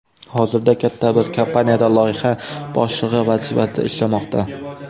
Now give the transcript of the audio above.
Hozirda katta bir kompaniyada loyiha boshlig‘i vazifasida ishlamoqda.